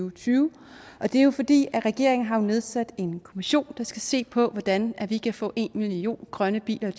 og tyve det er jo fordi regeringen har nedsat en kommission der skal se på hvordan vi kan få en million grønne biler i